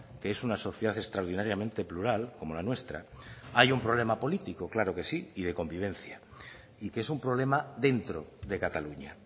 que es una sociedad extraordinariamente plural como la nuestra haya un problema político claro que sí y de convivencia y que es un problema dentro de cataluña